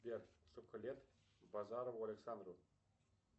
сбер сколько лет базарову александру